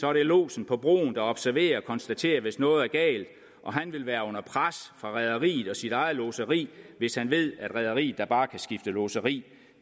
er det lodsen på broen der observerer og konstaterer hvis noget er galt og han vil være under pres fra rederiet og sit eget lodseri hvis han ved at rederiet da bare kan skifte lodseri